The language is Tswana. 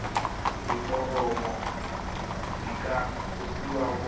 diforomo di ka kopiwa go